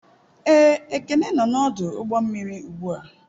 Ee, Ekene nọ n'ọdụ ụgbọ mmiri ugbu a.